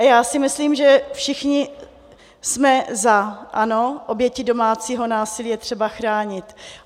A já si myslím, že všichni jsme za, ano, oběti domácího násilí je třeba chránit.